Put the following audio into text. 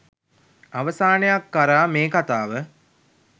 අවසානයක් කරා මේ කතාව